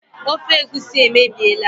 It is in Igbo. Ofe egusi emebiela